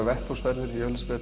vettvangsferðir